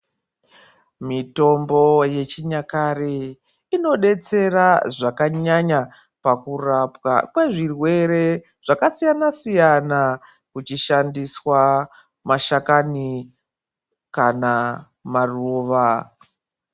Mitombo yechinyakare inodetsera zvakanyanya pakurapwa kwezvirwere zvakasiyana siyana kuchishandiswa mashakani kana maruva.